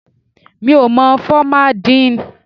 Mi ò mọ fọ́má díì ǹ.